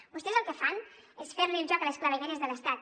vostès el que fan és fer el joc a les clavegueres de l’estat